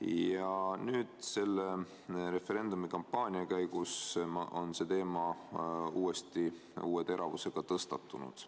Ja nüüd on selle referendumi kampaania käigus see teema uuesti ja uue teravusega tõstatunud.